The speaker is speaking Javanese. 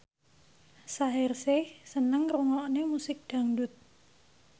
Shaheer Sheikh seneng ngrungokne musik dangdut